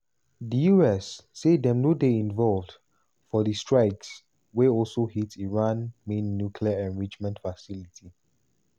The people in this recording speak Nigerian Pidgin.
di us say dem no dey involved for di strikes wey also hit iran main nuclear enrichment facility.